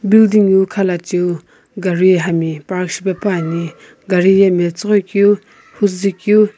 building wu khalechiu gari hami park shipepuani gari ye metsüghoi keu huzui keu.